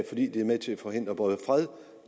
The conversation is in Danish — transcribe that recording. fordi de er med til at forhindre både fred